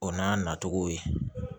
O n'a natogo ye